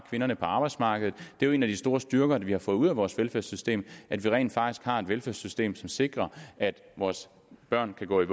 kvinderne på arbejdsmarkedet det er jo en af de store styrker vi har fået ud af vores velfærdssystem at vi rent faktisk har en velfærdssystem som sikrer at vores børn kan gå i